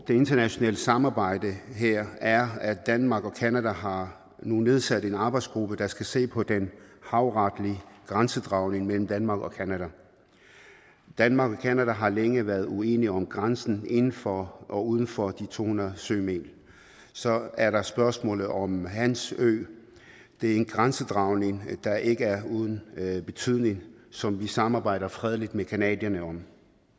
det internationale samarbejde her er at danmark og canada nu har nedsat en arbejdsgruppe der skal se på den havretlige grænsedragning mellem danmark og canada danmark og canada har længe været uenige om grænsen inden for og uden for de to hundrede sømil så er der spørgsmålet om hans ø det er en grænsedragning der ikke er uden betydning som vi samarbejder fredeligt med canadierne om